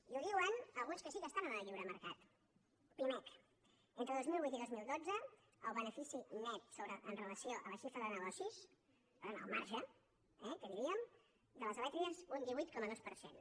i ho diuen alguns que sí que estan en el lliure mercat pimec entre dos mil vuit i dos mil dotze el benefici net amb relació a la xifra de negocis per tant el marge eh que diríem de les elèctriques un divuit coma dos per cent